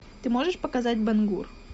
ты можешь показать бен гур